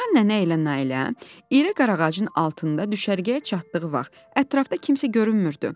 Reyhan nənə ilə Nailə iri qarağacın altında düşərgəyə çatdığı vaxt ətrafda kimsə görünmürdü.